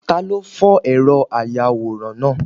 Talo fó eró ayawóran náá?